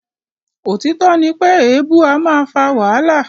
Òtítọ́ ní pé èèbu a máa fà wàhálà.